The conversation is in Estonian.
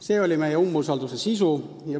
See on meie umbusaldusavalduse sisu.